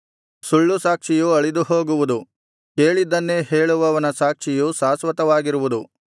ಸುಳ್ಳು ಸಾಕ್ಷಿಯು ಅಳಿದುಹೋಗುವುದು ಕೇಳಿದ್ದನ್ನೇ ಹೇಳುವವನ ಸಾಕ್ಷಿಯು ಶಾಶ್ವತವಾಗಿರುವುದು